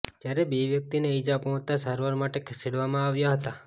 જયારે બે વ્યક્તિને ઇજા પહોંચતા સારવાર માટે ખસેડવામાં આવ્યા હતાં